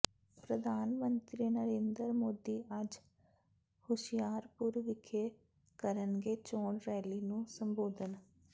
ਪ੍ਰਧਾਨ ਮੰਤਰੀ ਨਰਿੰਦਰ ਮੋਦੀ ਅੱਜ ਹੁਸਿਆਰਪੁਰ ਵਿਖੇ ਕਰਨਗੇ ਚੋਣ ਰੈਲੀ ਨੂੰ ਸੰਬੋਧਨ